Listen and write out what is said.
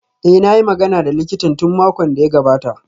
Eh, na yi magana da likitan tun makon da ya gabata